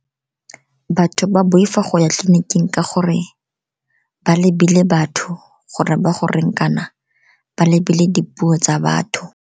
Batho ba boifa go ya tleliniking ka gore ba lebile batho gore ba go reng, kana ba lebile dipuo tsa batho.